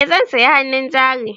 Eh zan sayi hannun jari.